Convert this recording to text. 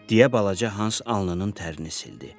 Deyə balaca Hans alnının tərini sildi.